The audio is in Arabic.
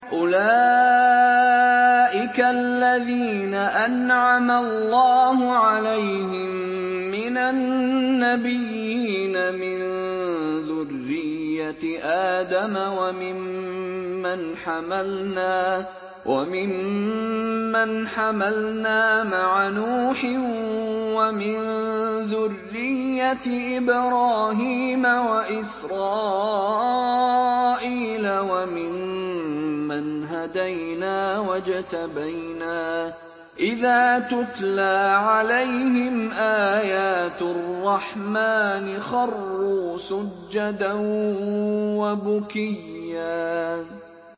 أُولَٰئِكَ الَّذِينَ أَنْعَمَ اللَّهُ عَلَيْهِم مِّنَ النَّبِيِّينَ مِن ذُرِّيَّةِ آدَمَ وَمِمَّنْ حَمَلْنَا مَعَ نُوحٍ وَمِن ذُرِّيَّةِ إِبْرَاهِيمَ وَإِسْرَائِيلَ وَمِمَّنْ هَدَيْنَا وَاجْتَبَيْنَا ۚ إِذَا تُتْلَىٰ عَلَيْهِمْ آيَاتُ الرَّحْمَٰنِ خَرُّوا سُجَّدًا وَبُكِيًّا ۩